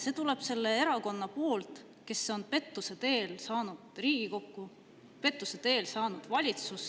See tuleb selle erakonna poolt, kes on pettuse teel saanud Riigikokku, pettuse teel saanud valitsusse.